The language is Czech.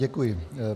Děkuji.